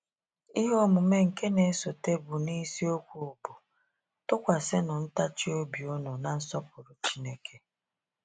Ihe omume nke n'esote bụ n’isiokwu bụ́ “ Tụkwasịnụ Ntachi Obi Unu na Nsọpụrụ Chineke.”